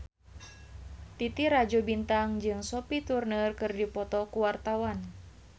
Titi Rajo Bintang jeung Sophie Turner keur dipoto ku wartawan